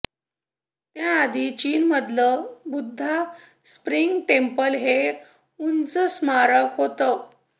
त्याआधी चीनमधलं Buddha spring temple हे उंच स्मारक होतं